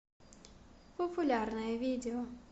популярное видео